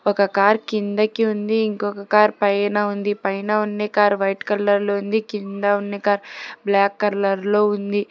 ఒక కార్ కిందకి ఉంది ఇంకొక కార్ పైన ఉంది పైన ఉన్నే కార్ వైట్ కలర్ లో ఉంది కింద ఉన్నే కార్ బ్లాక్ కరర్లో ఉంది.